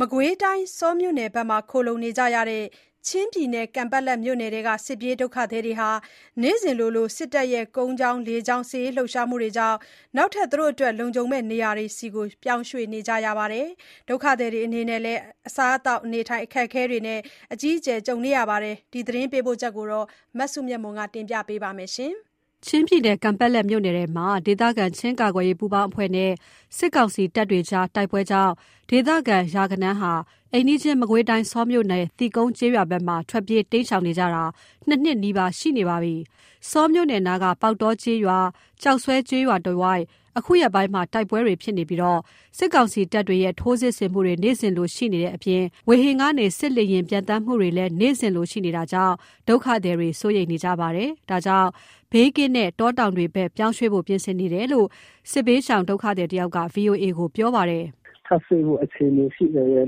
မကွေးတိုင်း ဆောမြို့နယ်ဘက်မှာ ခိုလှုံနေကြရတဲ့ ချင်းပြည်နယ် ကန်ပက်လက်မြို့နယ်ထဲက စစ်ပြေးဒုက္ခသည်တွေဟာ နေ့စဉ်လို စစ်တပ်ရဲ့ ကုန်းကြောင်း လေကြောင်း စစ်ရေးလှုပ်ရှားမှုတွေကြောင့် နောက်ထပ် လုံခြုံမယ့်နေရာတွေဆီ ပြောင်းရွေ့နေကြရပါတယ်။ ဒုက္ခသည်တွေအနေနဲ့ အစားအသောက် အခက်အခဲကိုလည်း အကြီးအကျယ် ကြုံနေကြရတဲ့အကြောင်း သတင်းပေးပို့ချက်ကို မစုမြတ်မွန် တင်ပြပါမယ်။ ချင်းပြည်နယ် ကန်ပက်လက်မြို့နယ်ထဲမှာ ဒေသခံချင်းကာကွယ်ရေးပူးပေါင်းအဖွဲ့နဲ့ စစ်ကောင်စီတပ်တွေကြား တိုက်ပွဲကြောင့် ဒေသခံရာဂဏန်းဟာ၊ အိမ်နီးချင်း မကွေးတိုင်း၊ ဆောမြို့နယ် သီးကုံးကျေးရွာဘက်မှာ ထွက်ပြေးတိမ်းရှောင်နေကြတာ ၂ နှစ်နီးပါးရှိနေပါပြီ။ ဆောမြို့နယ်နားက ပေါက်တောကျေးရွာ ကျောက်ဆွဲကျေးရွာတဝိုက် အခုရက်ပိုင်း တိုက်ပွဲတွေဖြစ်ပြီး၊ စစ်ကောင်စီတပ်တွေရဲ့ ထိုးစစ်ဆင်မှုတွေ နေ့စဉ်လို ရှိနေတဲ့အပြင် ဝေဟင်ကနေ စစ်လေယာဉ် ပျံသန်းမှုတွေလည်း နေ့စဉ်လိုရှိနေတာကြောင့် ဒုက္ခသည်တွေ စိုးရိမ်နေကြပါတယ်။ ဒါကြောင့် ဘေးကင်းတဲ့ တောတောင်တွေဘက် ပြောင်းရွှေ့ကြဖို့ ပြင်ဆင်နေတယ်လို့ စစ်ရှောင်တစ်ဦးက ဗွီအိုအေကို ပြောပါတယ်။ “ထပ်ရွှေ့ဖို့ အခြေအနေရှိတယ်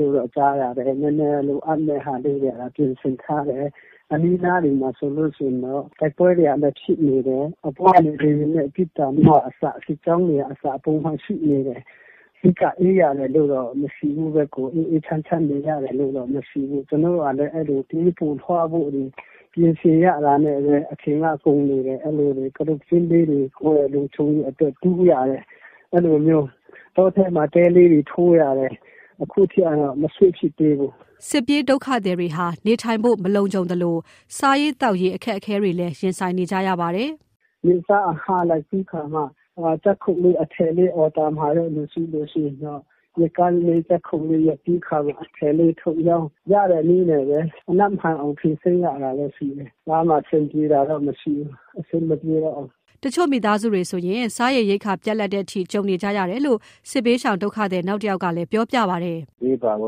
လို့ကြားတာပဲ နည်းနည်း လိုအပ်မယ့်ဟာလေးတွေ ပြင်ဆင်ထားတယ်။ အနီးအနားတွေမှာဆိုလိုရှိရင်တော့ တိုက်ပွဲတွေက ဖြစ်နေတယ်၊ အပေါ်ကနေ လေယာဉ်နဲ့ ပစ်သံကအစ စစ်ကြောင်းတွေက ပုံမှန်ရှိနေတယ် အဓိက အေးရတယ်လို့တော့ မရှိဘူးပဲ ကိုယ်အေးအေးချမ်းချမ်းနေရတယ်လို့တော့ မရှိဘူး ကျနော်တို့ကလည်း အဲ့လိုပြေးဖို့လွှားဖို့ ပြင်ဆင်ရတာနဲ့ပဲ အချိန်က ကုန်းနေတယ် အဲ့လိုတွေက ကတုတ်ကျင်းလေတွေ ကိုယ့်ရဲ့ လုံခြုံရေးအတွက် တူးရတယ် အဲ့လိုမျိုး တောထဲမှာ တဲလေးတွေ ထိုးရတယ် အခုထိကတော့ မရွှေ့ဖြစ်သေးဘူး။” စစ်ပြေးဒုက္ခသည်တွေဟာ နေထိုင်ဖို့ မလုံခြုံသလို စားရေး သောက်ရေး အခက်အခဲတွေလည်း ရင်ဆိုင်နေကြရပါတယ်။ “နေ့စားအငှားလိုက်ပြီးခါမှ ဂျပ်ခုတ်လေး အထည်လေးအော်ဒါမှာတဲ့လူရှိလို့ရင်တော့ ရက်ကန်းလေး ဂျပ်ခုတ်လေးရက်ပြီးခါမှ အထည်လေးထုတ်ရောင်းရတဲ့နည်းနဲ့ပဲ ကြံဖန်ဖြေရှင်းရတာရှိတယ်။ ကြားမှာ အဆင်ပြေတာတော့မရှိဘူး။ အဆင်မပြေတော့ဘူး။” တချို့မိသားစုတွေဆို စားရေရိက္ခာပြတ်လပ်တဲ့အထိ ကြုံနေကြရတယ်လို့ စစ်ဘေးရှောင် ဒုက္ခသည် နောက်တယောက်ကလည်း ပြောပြပါတယ်။ “ဘေးပတ်ဝ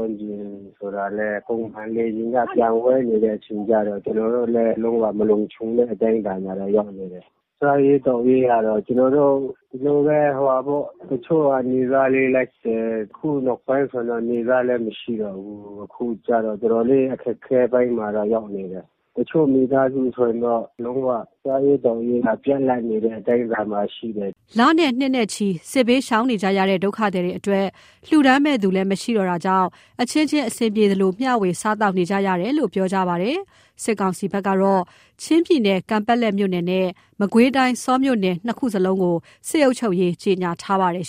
န်းကျင်ဆိုလည်း ပုံမှန်လေယာဉ်က ပျံဝဲနေတဲ့ အချိန်ကျတော့ ကျနော်တို့လည်း လုံးဝမလုံခြုံတဲ့အတိုင်းအတာကတော့ ရောက်နေတယ်။ စားရေးသောက်ရေးကတော့ ကျနော်တို့ ဒီလိုပဲဟိုဟာပေါ့ တချို့ကနေ့စားလေလိုက်တယ် အခုနောက်ပိုင်းဆိုရင်တော့ နေ့စားလည်းမရှိတော့ဘူး။ အခုကျတော့ တော်တော်လေး အခက်အခဲပိုင်းမှာတော့ ရောက်နေတယ်။ တချို့မိသားစုဆိုရင်တော့ လုံးဝစားရေးသောက်ရေးက ပြတ်လပ်နေတဲ့အတိုင်းအတာမှာရှိတယ်။” လနဲ့ နှစ်နဲ့ချီ စစ်ဘေးရှောင်နေကြရတဲ့ ဒုက္ခသည်တွေအတွက် လှူဒါန်းမယ့်သူလည်း မရှိတော့တာကြောင့် အချင်းချင်း အဆင်ပြေသလို မျှဝေ စားသောက်နေကြရတယ်လို့ ပြောကြပါတယ်။ စစ်ကောင်စီဘက်ကတော့ ချင်းပြည်နယ် ကန်ပက်လက်မြို့နယ်နဲ့ မကွေးတိုင်းဆောမြို့နယ် ၂ ခုလုံးကိုလည်း စစ်အုပ်ချုပ်ရေး ကြေညာထားပါတယ်